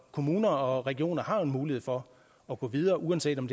kommuner og regioner har en mulighed for at gå videre uanset om